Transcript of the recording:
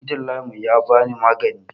Likitan layin mu yabani maganin